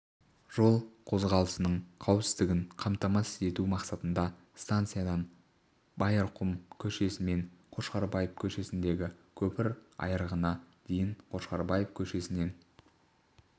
жол қозғалысының қауіпсіздігін қамтамасыз ету мақсатында станциядан байырқұм көшесімен қошқарбаев көшесіндегі көпір айрығына дейін қошқарбаев көшесінен